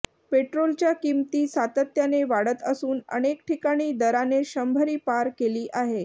पेट्रोलच्या किंमती सातत्याने वाढत असून अनेक ठिकाणी दराने शंभरी पार केली आहे